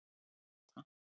Kata